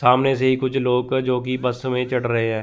सामने से ही कुछ लोग जो की बस में चढ़ रहे हैं।